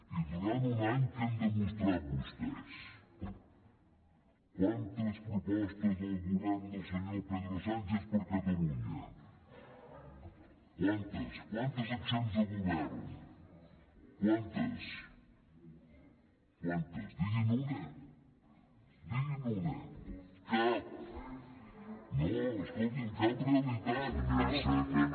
i durant un any què han demostrat vostès quantes propostes del govern del senyor pedro sánchez per a catalunya quantes quantes acciones de govern quantes iceta i llorens intervé sense fer ús del micròfon